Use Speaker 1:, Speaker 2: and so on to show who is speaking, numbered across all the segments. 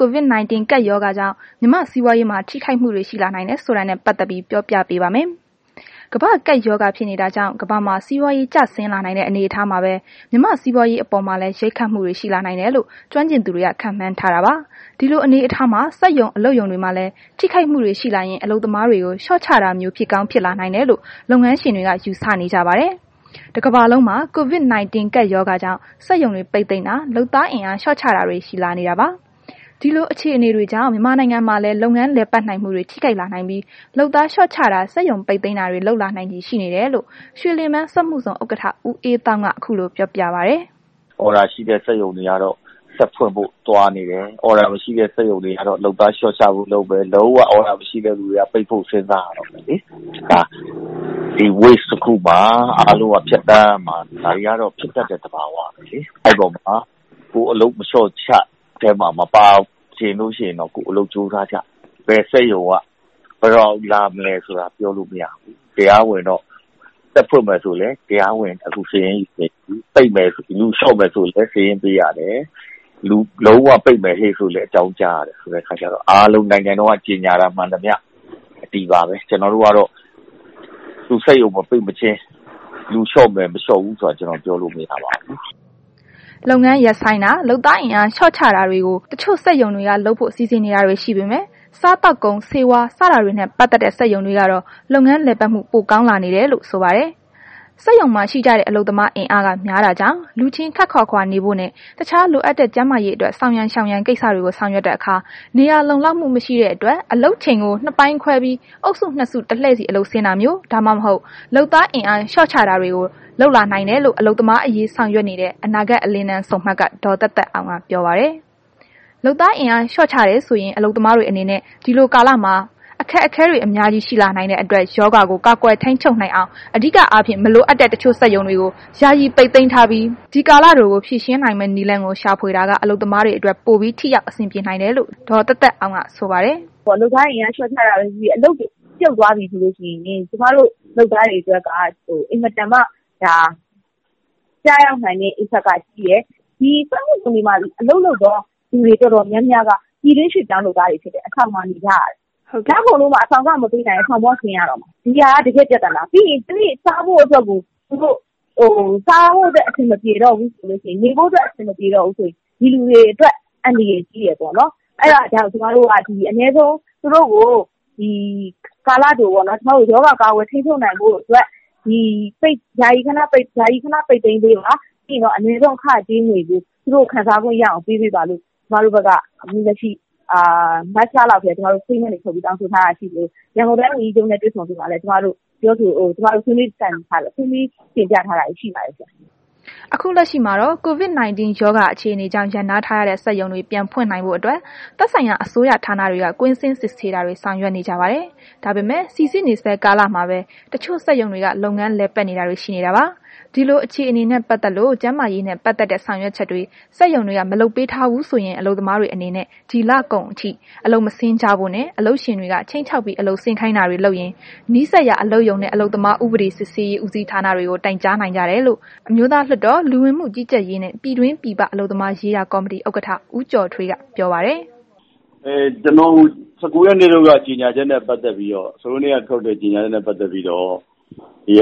Speaker 1: COVID-19 ကပ်ရောဂါကြောင့် မြန်မာ့စီးပွားရေးမှာ ထိခိုက်မှုတွေ ရှိလာနိုင်တယ်ဆိုတာနဲ့ပတ်သက်ပြီး ဗွီအိုအေမြန်မာပိုင်း သတင်းထောက် မအိမ့်သန္တာထွန်းက ပြောပြပါမယ်။ ကမ္ဘာ့ကပ် ရောဂါဖြစ်နေတာကြောင့် ကမ္ဘာမှာ စီးပွားရေး ကျဆင်းလာနိုင်တဲ့ အနေအထားမှာပဲ မြန်မာ့စီးပွားရေးအပေါ်မှာလည်း ရိုက်ခတ်မှုတွေ ရှိလာနိုင်တယ်လို့ ကျွမ်းကျင်သူတွေက ခန့်မှန်းထားတာပါ။ ဒီလို အနေအထားမှာ စက်ရုံ၊ အလုပ်ရုံတွေမှာလည်း ထိခိုက်မှုတွေ ရှိလာရင် အလုပ်သမားတွေကို လျှော့ချတာမျိုး ဖြစ်ကောင်းဖြစ်လာနိုင်တယ်လို့ လုပ်ငန်းရှင်တွေက ယူဆနေကြပါတယ်။ တစ်ကမ္ဘာလုံးမှာ COVID-19 ကပ်ရောဂါကြောင့် စက်ရုံတွေ ပိတ်သိမ်းတာ လုပ်သားအင်အား လျှော့ချတာတွေ ရှိလာနေတာပါ။ ဒီလို အခြေအနေ တွေကြောင့် မြန်မာနိုင်ငံမှာလည်း လုပ်ငန်းလည်ပတ်နိုင်မှုတွေ ထိခိုက်လာနိုင်ပြီး လုပ်သားလျှော့ချတာ စက်ရုံပိတ်သိမ်းတာတွေ လုပ်လာနိုင်ချေ ရှိနေတယ်လို့ ရွှေလင်ဗန်း စက်မှုဇုန် ဥက္ကဋ္ဌ ဦးအေးသောင်းက အခုလို ပြောပြပါတယ်။
Speaker 2: “အော်ဒါရှိတဲ့ စက်ရုံတွေကတော့ ဆက်ဖွင့်ဖို့ သွားနေတယ်။ အော်ဒါမရှိတဲ့ စက်ရုံတွေကတော့ လုပ်သားလျှောချဖို့ လုပ်မယ်။ လုံးဝ အော်ဒါမရှိတဲ့သူတွေက ပိတ်ဖို့ စဉ်းစားရတော့မယ်။ ဒီလို ကိစ္စမှာ အားလုံးက ဖြတ်သန်းရမှာ ဒါတွေကတော့ ဖြစ်တတ်တဲ့ သဘာဝပဲလေ။ အဲ့ဒီထဲမှာ ကိုယ်က လျှောချ ခံရတဲ့ အထဲမှာ မပါချင်ဘူးဆိုရင်တော့ အလုပ်ကြိုးစားကြပေါ့။ ဘယ်စက်ရုံက ဘယ်တော့ လာမလဲဆိုတာ မသိဘူး။ တရားဝင်တော့ ဖွင့်မယ်ဆိုရင်လဲ တရားဝင်ခု စာရင်းယူနေပြီ၊ လူလျှော့မယ်ဆိုရင်လဲ စာရင်းပေးရတယ်။ လုံးဝပိတ်မယ်ဆိုလဲ အကြောင်းကြားရတယ် ဆိုတဲ့ခါကျတော့ အားလုံးနိုင်ငံတော်က ကြေညာတာမှန်သမျှ အတည်ပါပဲ။ ကျနော်တို့ကတော့ စက်ရုံမပိတ်မချင်း လူလျှော့မယ်၊ မလျှော့ဘူးဆိုတာ ပြောလို့မရပါဘူး။”
Speaker 1: လုပ်ငန်းရပ်ဆိုင်းတာ၊ လုပ်သားအင်အား လျှော့ချတာတွေကို တချို့စက်ရုံတွေက လုပ်ဖို့ စီစဉ်နေတာတွေ ရှိနေပေမဲ့ စားသောက်ကုန်၊ ဆေးဝါး စတာတွေနဲ့ ပတ်သက်တဲ့ စက်ရုံတွေကတော့ လုပ်ငန်းလည်ပတ်မှု ပိုကောင်းလာနေတယ်လို့ ဆိုပါတယ်။ စက်ရုံမှာ ရှိကြတဲ့ အလုပ်သမားအင်အားက များတာကြောင့် လူချင်း ခပ်ခွာခွာနေဖို့နှင့် တခြားလိုအပ်တဲ့ ကျန်းမာရေးအတွက် ဆောင်ရန်ရှောင်ရန် ကိစ္စတွေကို ဆောင်ရွက်တဲ့အခါ နေရာလုံလောက်မှုမရှိတဲ့အတွက် အလုပ်ချိန်ကို နှစ်ပိုင်းခွဲပြီး အုပ်စုနှစ်စု တလှည့်စီ အလုပ်ဆင်းတာမျိုး ဒါမှမဟုတ် လုပ်သားအင်အား လျှော့ချရတာတွေ လုပ်လာနိုင်တယ်လို့ အလုပ်သမားအရေး ဆောင်ရွက်နေတဲ့ အနာဂတ် အလင်းတန်းဆုံမှတ်က ဒေါ်သက်သက်အောင်က ပြောပါတယ်။ လုပ်သားအင်အား လျှော့ချတယ်ဆိုရင် အလုပ်သမားတွေအနေနဲ့ ဒီလိုကာလမှာ အခက်အခဲတွေ အများကြီးရှိလာနိုင်တဲ့ အတွက် ရောဂါကို ကာကွယ်ထိန်းချုပ်နိုင်အောင် အဓိကအားဖြင့် မလိုအပ်တဲ့ စက်ရုံတချို့ကို ယာယီပိတ်သိမ်းထားပြီး ဒီကာလတိုကို ဖြေရှင်းနိုင်မယ့် နည်းလမ်းကို ရှာဖွေတာက အလုပ်သမားတွေအတွက် ပိုပြီး ထိရောက် အဆင်ပြေနိုင်တယ်
Speaker 3: လို့ ဒေါ်သက်သက်အောင်က ဆိုပါတယ်။ “လုပ်သားအင်အား လျှော့ချတာပဲ ဖြစ်ဖြစ် အလုပ်တွေ ပြုတ်သွားပြီဆိုရင် ကျမတို့ လုပ်သားတွေအတွက်က အင်မတန်မှ ကျရောက်နိုင်တဲ့ Impact ကကြီးတယ်။ ဒီစက်မှုဇုန်တွေမှာ အလုပ်လုပ်တဲ့ သူတွေ တော်တော်များများက ပြည်တွင်းရွှေ့ပြောင်းအလုပ်သမားတွေ ဖြစ်တယ်။ အဆောင်မှာ နေကြရတယ်။ လကုန်လို့မှ အဆောင်လခ မပေးနိုင်ရင် အဆောင်က ဆင်းရတော့မယ်။ ဒါက တကယ့် ပြဿနာ ပြီးရင် နေဖို့အတွက် စားဖို့ အတွက် အဆင်မပြေတော့ဘူးဆိုလို့ရှိရင် ဒီလူတွေအတွက် အန္တရာယ်ရှိတယ်ပေါ့။ အဲ့ဒါကြောင့် ကာလတိုပေါ့နှော်၊ သူတို့ကို ရောဂါကာကွယ် ထိန်းချုပ်နိုင်ဖို့အတွက် ဒီစက်ရုံတွေကို ယာယီ ခဏ ပိတ်သိမ်းပေးပါ။ ပြီးရင် အနည်းဆုံး အခကြေးငွေကို သူတို့ကို ရအောင်ပေးပေးပါလို့ ကျကမတို့က statement တွေထုတ်ပြီး တောင်းဆိုထားတာရှိသလို ရန်ကုန်တိုင်းဒေသကြီးဝန်ကြီးချုပ်နှင့် တွေ့ဆုံစဉ်မှာလည်း ကျမတို့ ဆွေးနွေးတိုင်ပင်ပြီး တင်ပြထားတာ ရှိပါတယ်။”
Speaker 1: အခု လက်ရှိမှာတော့ COVID-19 ရောဂါ အခြေအနေကြောင့် ရပ်နားထားရတဲ့ စက်ရုံတွေ ပြန်ဖွင့်နိုင်ဖို့ အတွက် သက်ဆိုင်ရာ အစိုးရဌာနတွေက ကွင်းဆင်းစစ်ဆေးတာတွေ ဆောင်ရွက်နေကြပါတယ်။ ဒါပေမဲ့ စိစစ်နေဆဲ ကာလမှာပဲ တချို့စက်ရုံတွေက လုပ်ငန်းတွေလည်ပတ်နေတာတွေရှိနေတာပါ။ ဒီလို အခြေအနေနဲ့ ပတ်သက်လို့ ကျန်းမာရေးနဲ့ ပတ်သက်တဲ့ ဆောင်ရွက်ချက်တွေ စက်ရုံတွေက လုပ်မပေးထားဘူးဆိုရင် အလုပ်သမားတွေအနေနဲ့ ဒီလကုန်လောက်အထိ အလုပ်မဆင်းကြဖို့နဲ့ အလုပ်ရှင်တွေက ခြိမ်းခြောက်ပြီး အလုပ်ဆင်းခိုင်းတာတွေ လုပ်ရင် နီးစပ်ရာ အလုပ်ရုံနှင့် အလုပ်သမားဥပဒေစစ်ဆေးရေး ဦးစီးဌာနတွေမှာ တိုင်ကြားနိုင်ကြတယ်လို့ အမျိုးသားလွှတ်တော် လူဝင်မှုကြီးကြပ်ရေးနှင့် ပြည်တွင်းပြည်ပ အလုပ်သမားရေးရာ ကော်မတီ ဥက္ကဋ္ဌ ဦးကျော်ထွေးက ပြောပါတယ်။
Speaker 2: “၁၉ ရက်နေ့က ထုတ်တဲ့ ကြေညာချက်နှင့်ပ တ်သက်ပြီးတော့ အ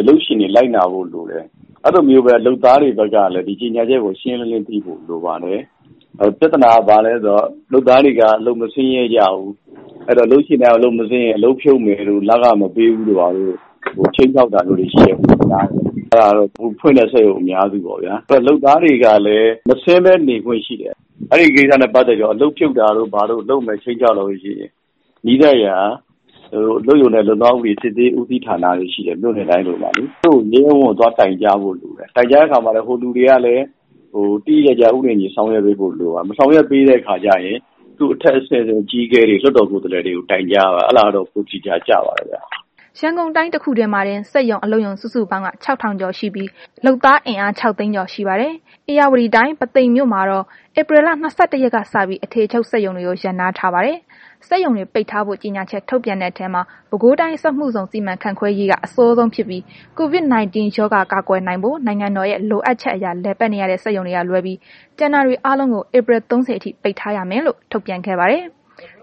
Speaker 2: လုပ်ရှင်တွေဘက်က လိုက်နာဖို့ လိုတယ်။ ဒီလိုပဲ အလုပ်သမားတွေဘက်ကလည်း ဒီကြေညာချက်ကို ရှင်းရှင်းလင်းလင်း သိဖို့လိုပါတယ်။ ပြဿနာက ဘာလဲဆိုတော့ အလုပ်သမားတွေက အလုပ်မဆင်းရဲကြဘူး။ အဲ့တော့ အလုပ်ရှင်တွေက အလုပ်မဆင်းရင် အလုပ်ဖြုတ်မယ်တို့ လခမပေးဘူးတို့ ခြိမ်းခြောက်တာမျိုးတွေရှိတယ်လို့ ကြားတယ်။ အဲ့ဒါကတော့ ခုဖွင့်ထားတဲ့ စက်ရုံအများစုပေါ့ဗျာ၊ လုပ်သားတွေကလည်း မဆင်းဘဲ နေခွင့်ရှိတယ်။ အဲ့ဒီကိစ္စနဲ့ ပတ်သက်ပြီးတော့ အလုပ်ဖြုတ်မယ် ခြိမ်းခြောက်လာလို့ရှိရင် နီးစပ်ရာ အလုပ်ရုံနှင့် အလုပ်သမားဥပဒေစစ်ဆေးရေး ဦးစီးဌာနလို့ ရှိတယ်၊ မြို့နယ်တိုင်းလိုလိုမှာလေ သူတို့ကို ရဲရဲ ဝံ့ဝံ့ သွားတိုင်ကြားဖို့လိုတယ်။ တိုင်ကြားတဲ့ အခါမှာ သူတို့ကလည်း သေသေချာချာ ဥပဒေနဲ့ အညီ ဆောင်ရွက်ပေးဖို့ လိုပါတယ်။ မဆောင်ရွက်ပေးတဲ့ အခါကျရင် သူ့အထက်အဆင့် အကြီးအကဲတွေ လွှတ်တော်ကိုယ်စားလှယ်တွေကို တိုင်ကြားပါ၊ အဲ့ဒါကတော့ ပိုအခရာ ကျပါတယ်။”
Speaker 1: ရန်ကုန်တိုင်း တခုထဲမှာတင် စက်ရုံ အလုပ်ရုံစုစုပေါင်းက ၆,၀၀၀ ကျော်ရှိပြီး လုပ်သားအင်အား ၆၀၀,၀၀၀ ကျော်ရှိပါတယ်။ ဧရာဝတီတိုင်း ပုသိမ်မြို့မှာတော့ ဧပြီလ ၂၁ ရက်နေ့ကစပြီး အထည်ချုပ် စက်ရုံတွေကို ရပ်နားထားပါတယ်။ စက်ရုံတွေ ပိတ်ထားဖို့ ကြေညာချက်ထုတ်ပြန်တဲ့ထဲမှာ ပဲခူးတိုင်းစက်မှုဇုန် စီမံခန့်ခွဲရေးကအစောဆုံး ဖြစ်ပြီး COVID-19 ရောဂါကာကွယ်နိုင်ဖို့ နိုင်ငံတော်ရဲ့ လိုအပ်ချက်အရ လည်ပတ်နေရတဲ့ စက်ရုံတွေက လွဲပြီး ကျန်တာတွေအားလုံးကို ဧပြီ ၃၀ အထိ ပိတ်ထားရမယ်လို့ ထုတ်ပြန်ခဲ့ပါတယ်။